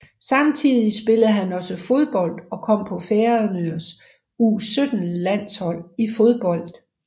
Samtidig spillede han også fodbold og kom på Færøernes U17 landshold i fodbold